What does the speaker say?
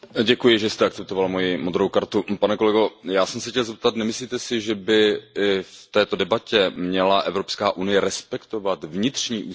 Pane kolego, já jsem se chtěl zeptat Nemyslíte si, že by v této debatě měla Evropské unie respektovat vnitřní ústavní poměry Španělska?